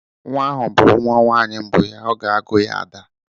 Nwa ahu bụrụ nwa nwaanyi mbụ ya, ọ ga-agụ ya Ada.